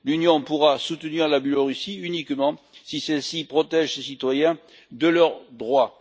L'Union pourra soutenir la Biélorussie uniquement si celle ci protège ses citoyens et leurs droits.